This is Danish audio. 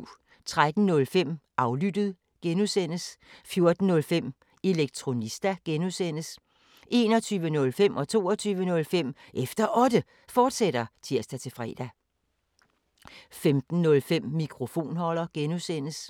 13:05: Aflyttet G) 14:05: Elektronista (G) 21:05: Efter Otte, fortsat (tir-fre) 22:05: Efter Otte, fortsat (tir-fre) 05:05: Mikrofonholder (G)